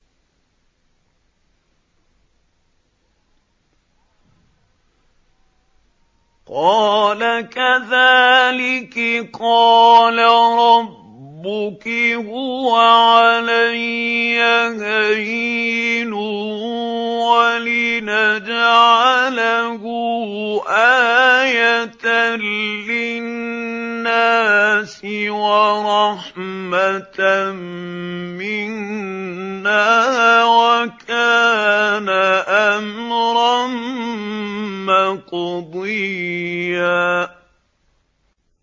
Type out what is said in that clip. قَالَ كَذَٰلِكِ قَالَ رَبُّكِ هُوَ عَلَيَّ هَيِّنٌ ۖ وَلِنَجْعَلَهُ آيَةً لِّلنَّاسِ وَرَحْمَةً مِّنَّا ۚ وَكَانَ أَمْرًا مَّقْضِيًّا